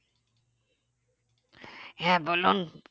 হ্যাঁ বলুন